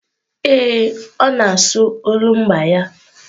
Ee, ọ na-asụ olumba ya.